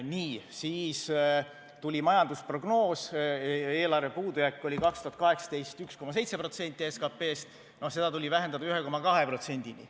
Nii, siis tuli majandusprognoos, eelarve puudujääk oli 2018. aastal 1,7% SKT-st, no seda tuli vähendada 1,2%-ni.